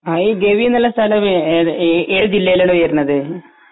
ആ ഗവിന്നുള്ളൊരു സ്ഥലമേത് ഏ ഏ ഏത് ജില്ലയിലാണ് വരുന്നത്